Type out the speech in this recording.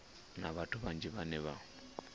na vhathu vhanzhi vhane vha